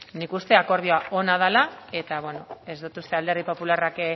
nik uste akordioa ona dela eta ez dut uste alderdi popularrak